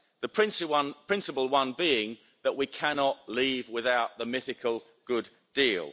The principal one being that we cannot leave without the mythical good deal.